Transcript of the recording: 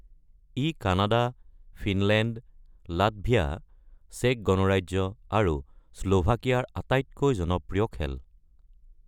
ই Canada, Finland, Latvia, চেক গণৰাজ্য আৰু শ্লোভাকিয়াৰ আটাইতকৈ জনপ্ৰিয় খেল।